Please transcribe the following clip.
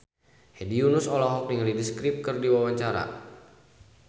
Hedi Yunus olohok ningali The Script keur diwawancara